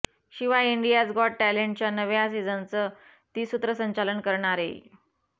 शिवाय India's got टॅलेंटच्या नव्या सीझनचं ती सूत्रसंचालन करणारेय